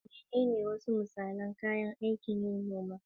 Menene wasu misalan kayan aikin noma?